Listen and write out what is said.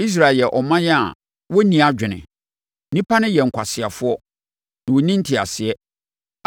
Israel yɛ ɔman a wɔnni adwene. Nnipa no yɛ nkwaseafoɔ, na wɔnni nteaseɛ.